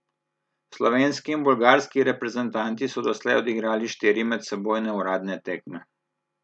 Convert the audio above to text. Slovenski in bolgarski reprezentanti so doslej odigrali štiri medsebojne uradne tekme.